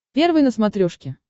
первый на смотрешке